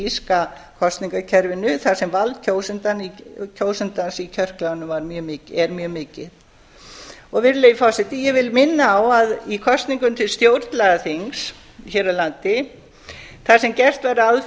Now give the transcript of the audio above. írska kosningakerfinu þar sem vald kjósandans í kjörklefanum er mjög mikið virðulegi forseti ég vil minna á að í kosningum til stjórnlagaþings hér á landi þar sem gert var ráð